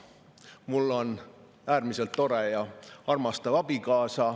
Mul on äärmiselt tore ja armastav abikaasa.